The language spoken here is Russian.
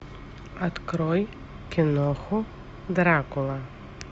открой киноху дракула